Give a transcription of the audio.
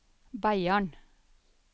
Beiarn